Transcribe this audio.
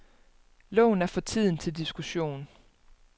Loven er for tiden til diskussion.